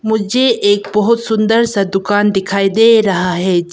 मुझे एक बहुत सुंदर सा दुकान दिखाई दे रहा है।